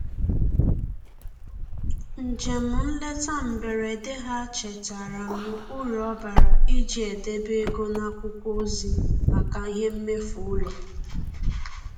Njem nleta mberede ha chetaara m uru ọ bara iji edebe ego n'akwụkwọ ozi maka ihe mmefu ụlọ.